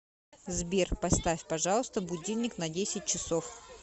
сбер поставь пожалуйста будильник на десять часов